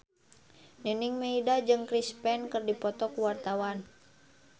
Nining Meida jeung Chris Pane keur dipoto ku wartawan